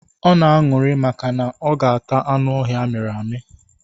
Ọ na-aṅụrị maka na ọ ga ata anụ ọhịa amịrị amị.